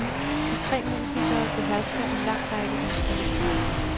De tre musikere behersker en lang række instrumenter.